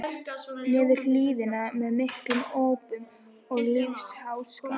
niður hlíðina með miklum ópum og lífsháska.